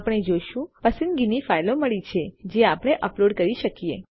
આપણે જોશું પસંદગીની ફાઇલો મળી છે જે આપણે અપલોડ કરી શકીએ